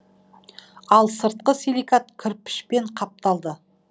ал сырты селикат кірпішпен қапталды